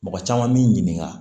Mɔgɔ caman b'i ɲininka